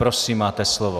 Prosím, máte slovo.